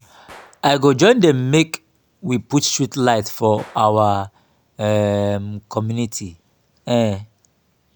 i go join dem make we put street light for our um community. um